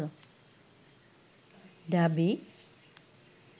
ঢাবি